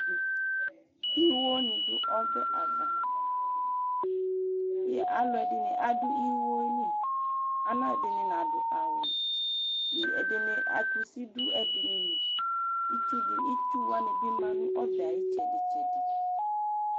Iwowani ɖu ɔbɛ ava, aaluɛɖini aɖʋ iwoyɛli, aaluɛɖini anaɖʋ awu ɛɖinili kusi ɖʋ ɛɖiniliItsuwani bi ma nʋ ɔbɛyɛ ayu itsɛɖɛtsɛɖi